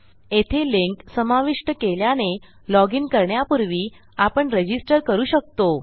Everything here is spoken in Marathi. येथे लिंक समाविष्ट केल्याने loginकरण्यापूर्वी आपण रजिस्टर करू शकतो